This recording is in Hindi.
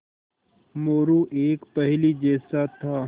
मोरू एक पहेली जैसा था